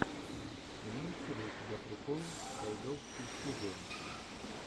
имеется ли у тебя прикол тайдовский студио